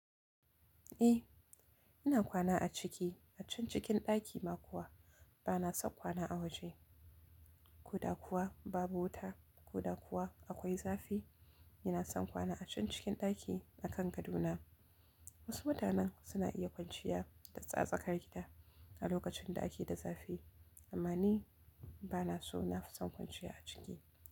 Eh, ina kwana a ciki, a can cikin ɗaki ma kuwa ba na son kwana a waje. Ko da kuwa babu wuta ko da kuwa akwai zafi. Ina son kwana a can cikin daki akan gadona. Wasu mutanen suna iya kwanciya da tsaksar gida a lokacin da ake da zafi amma ni ba na so. Na fi son kwanciya a ciki.